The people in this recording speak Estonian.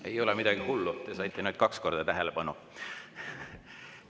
Ei ole midagi hullu, te saite kaks korda tähelepanu.